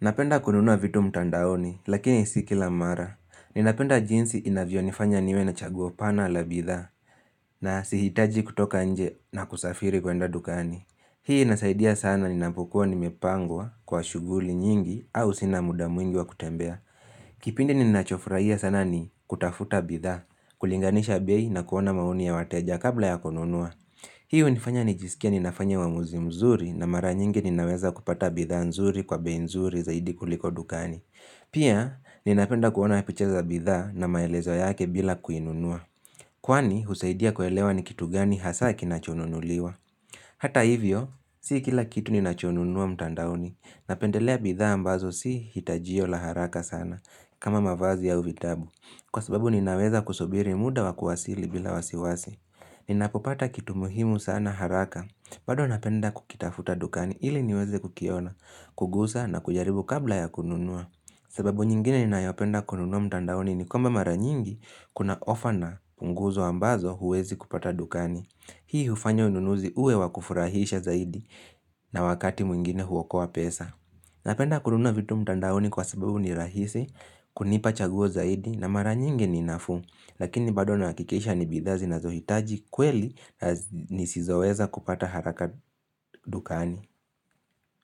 napenda kununua vitu mtandaoni, lakini si kila mara. Ninapenda jinsi inavyo nifanya niwe na chaguo pana la bidhaa, na sihitaji kutoka nje na kusafiri kwenda dukani. Hii inasaidia sana ninapokuwa nimepangwa kwa shughuli nyingi au sina muda mwingi wa kutembea. Kipindi ninachofurahia sana ni kutafuta bidhaa, kulinganisha bei na kuona maoni ya wateja kabla ya kununua. Hii hunifanya nijisikie ninafanya uamuzi mzuri na mara nyingi ninaweza kupata bidhaa nzuri kwa bei nzuri zaidi kuliko dukani. Pia, ninapenda kuona picha za bidhaa na maelezo yake bila kuinunua. Kwani, husaidia kuelewa ni kitu gani hasa kinachonunuliwa. Hata hivyo, si kila kitu ninachonunua mtandaoni. Napendelea bidhaa ambazo si hitajio la haraka sana kama mavazi au vitabu. Kwa sababu, ninaweza kusubiri muda wa kuwasili bila wasiwasi. Ni napopata kitu muhimu sana haraka, bado napenda kukitafuta dukani ili niweze kukiona, kugusa na kujaribu kabla ya kununua sababu nyingine ni nayopenda kununua mtandaoni ni kwamba mara nyingi kuna ofa na punguzo ambazo huwezi kupata dukani Hii hufanya ununuzi uwe wakufurahisha zaidi na wakati mwingine huokoa pesa Napenda kununua vitu mtandaoni kwa sababu ni rahisi, kunipa chaguo zaidi na mara nyingi ni nafuu Lakini bado na nahakikisha ni bidhaa zinazohitaji kweli na nisizoweza kupata haraka dukani.